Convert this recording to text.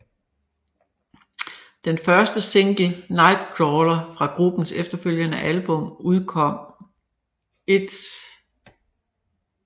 Den første single Nightcrawler fra gruppens efterfølgende album udkom 1